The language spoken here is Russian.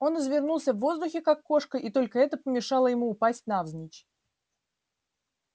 он извернулся в воздухе как кошка и только это помешало ему упасть навзничь